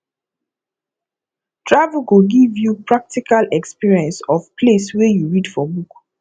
travel go give you practical experience of place wey you read for book